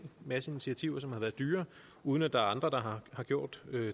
masse initiativer som har været dyre uden at der er andre der har gjort